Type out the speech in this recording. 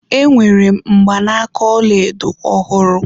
Enwere m mgbanaka ọlaedo ọhụrụ